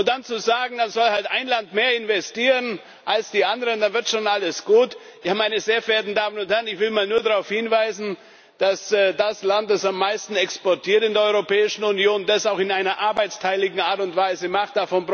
Dann zu sagen, dann soll halt ein Land mehr investieren als die anderen, da wird schon alles gut meine sehr verehrten Damen und Herren, ich will nur darauf hinweisen, dass das Land, das am meisten exportiert in der Europäischen Union, das auch in einer arbeitsteiligen Art und Weise macht.